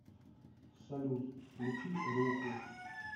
салют включи руху